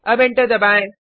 अब एंटर दबाएँ